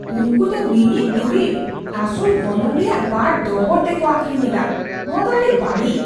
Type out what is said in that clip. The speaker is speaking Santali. ᱩᱱᱠᱩ ᱫᱚ ᱢᱤᱢᱤᱫ ᱫᱩᱨᱤᱵ ᱟᱥᱚᱞ ᱜᱚᱱᱚᱝ ᱨᱮᱭᱟᱜ ᱵᱟᱨ ᱫᱚᱵᱚᱲᱛᱮ ᱠᱚ ᱟᱹᱠᱷᱨᱤᱧᱮᱫᱟ ᱾ ᱱᱚᱣᱟ ᱫᱚ ᱟᱹᱰᱤ ᱵᱟᱹᱲᱤᱡ ᱾